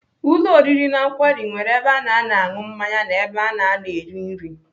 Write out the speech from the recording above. Ụlọ oriri na nkwari nwere ebe ana anọ aṅụ mmanya na ebe ana anọ eri nri.